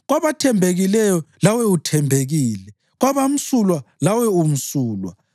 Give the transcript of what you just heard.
Kwabathembekileyo lawe uthembekile, kwabamsulwa lawe umsulwa,